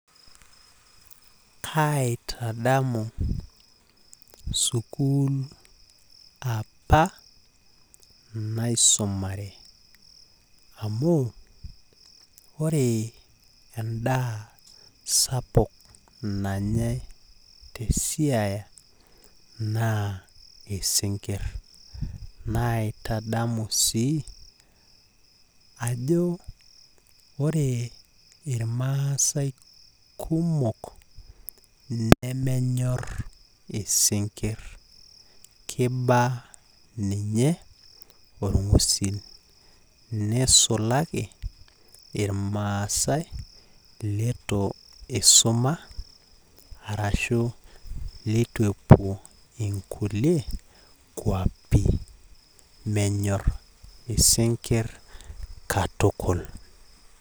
kaitadamu sukuul apa naisumare amu ore endaa sapuk nanyae te siaya naa isinkir naitadamu sii ajo ore irmaasae kumok nemenya isinkir keiba ninye orngusil nisulaki irmaase leitu isuma arashu leitu epuo nkulie kwapi menyor isinkir katukul .